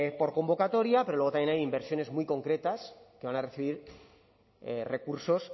por convocatoria pero luego también hay inversiones muy concretas que van a recibir recursos